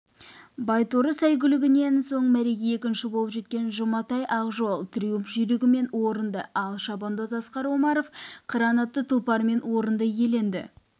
байторы сәйгүлігінен соң мәреге екінші болып жеткен жұматай ақжол триумп жүйрігімен орынды ал шабандоз асқар омаров қыран атты тұлпарымен орынды иеленді